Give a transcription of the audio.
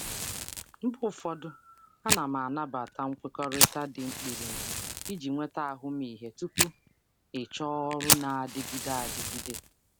Mgbe ụfọdụ, ana m anabata nkwekọrịta obere oge iji nweta ahụmịhe tupu m achọ ọrụ na-adịgide adịgide.